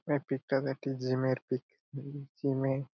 এই পিক -টা একটি জিম -এর পিক জিম -এর--